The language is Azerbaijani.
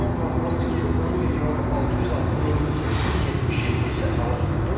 Karol Navrutski 10 milyon 606 min 877 səs alıb.